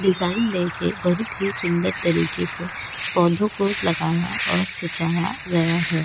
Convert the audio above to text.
Design देके बहुत ही सुंदर तरीके से पौधों को लगाया और सिचाया गया है.